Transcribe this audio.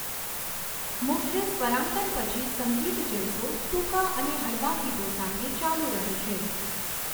મુખ્ય સ્વરાંકન પછી, સંગીત જલસો ટૂંકા અને હળવા ગીતો સાથે ચાલુ રહે છે.